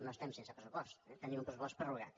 no estem sense pressupost eh tenim un pressupost prorrogat